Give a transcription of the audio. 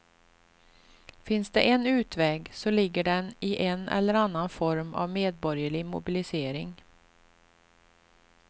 Finns det en utväg så ligger den i en eller annan form av medborgerlig mobilisering.